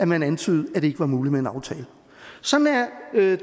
man antydede at det ikke var muligt med en aftale sådan er